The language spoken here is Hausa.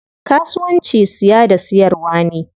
Kasuwanci siya da siyarwa ne.